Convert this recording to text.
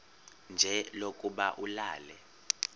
nje lokuba ulale